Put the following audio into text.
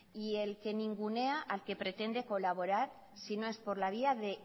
y el que ningunea al que pretende colaborar si no es por la vía